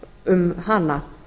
um hana